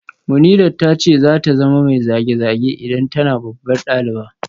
Munirat ta ce za ta zama mai zage-zage idan tana babbar daliba